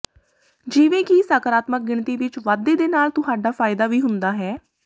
ਜਿਵੇਂ ਕਿ ਸਕਾਰਾਤਮਕ ਗਿਣਤੀ ਵਿੱਚ ਵਾਧੇ ਦੇ ਨਾਲ ਤੁਹਾਡਾ ਫਾਇਦਾ ਵੀ ਹੁੰਦਾ ਹੈ